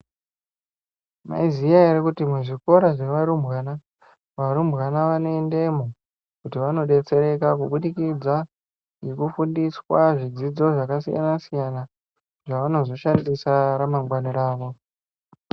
Mwaiziya ere kuti muzvikora zvevarumbwana, varumbwana vanoendemo kuti vanobetsereka kubudikidza ngekufundiswa zvidzidzo zvakasiyana siyana zvavanozoshandisa ramangwana ravo.